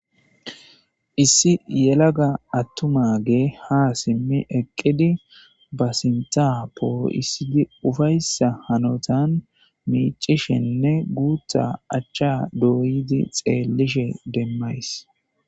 Issi yelaga aththumaagee haa simmi eqqidi ba sinththaa poo7issidi ufayssa hanothan miiccishenne guuththaa achchaa dooyidi xeellishe demmays.